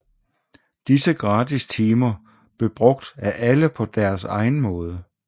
Disse gratis timer blev brugt af alle på deres egen måde